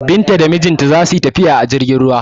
Binta da mijinta za su yi tafiya a jirgin ruwa.